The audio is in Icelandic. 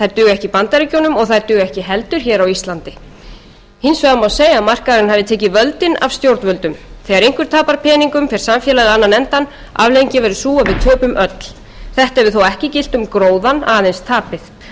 duga ekki í bandaríkjunum og þær duga ekki heldur á íslandi hins vegar má segja að markaðurinn hafi tekið völdin af stjórnvöldum þegar einhver tapar peningum fer samfélagið á annan endann afleiðingin verður sú að við töpum öll þetta hefur þó ekki gilt um gróðann aðeins tapið og